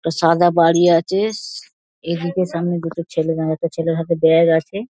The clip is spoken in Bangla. একটা সাদা বাড়ি আছে এদিকে সামনে দুটো ছেলে দাঁড়িয়ে আছে একটা ছেলের হাতে ব্যাগ আছে।